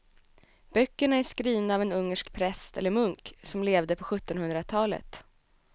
Böckerna är skrivna av en ungersk präst eller munk som levde på sjuttonhundratalet.